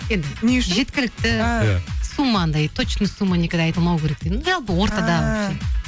енді не үшін жеткіліті сумма анадай точно сумма никогда айтылмау керек жалпы ортада